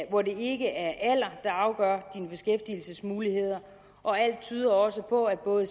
hvor det ikke er alderen der afgør ens beskæftigelsesmuligheder og alt tyder også på at både